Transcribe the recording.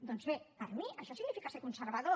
doncs bé per mi això significa ser conservador